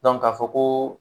k'a fɔ ko